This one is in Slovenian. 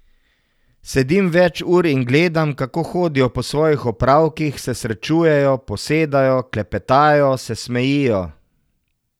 Sedim več ur in gledam, kako hodijo po svojih opravkih, se srečujejo, posedajo, klepetajo, se smejijo ...